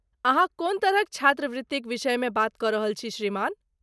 अहाँ कोन तरहक छात्रवृत्तिक विषयमे बात कऽ रहल छी, श्रीमान?